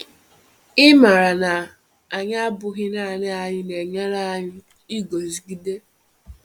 Ịmara na anyị abụghị naanị anyị na-enyere anyị iguzogide.